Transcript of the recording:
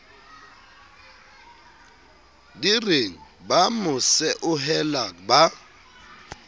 direng ba mo seohela ba